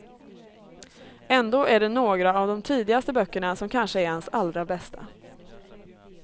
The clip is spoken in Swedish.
Ändå är det några av de tidigaste böckerna som kanske är hans allra bästa.